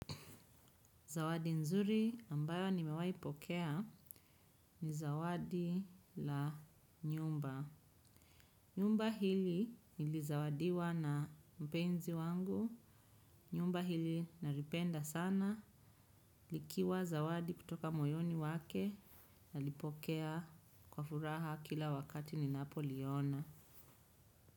Zawadi nzuri ambayo nimewahi pokea ni zawadi la nyumba. Nyumba hili nilizawadiwa na mpenzi wangu. Nyumba hili naripenda sana. Likiwa zawadi kutoka moyoni wake. Nalipokea kwa furaha kila wakati ninapoliona.